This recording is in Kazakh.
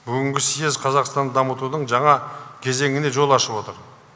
бүгінгі съез қазақстанды дамытудың жаңа кезеңіне жол ашып отыр